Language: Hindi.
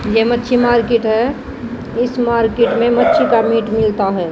ये मच्छी मार्केट है इस मार्केट में मच्छी का मीट मिलता है।